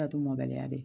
mɔbaliya be ye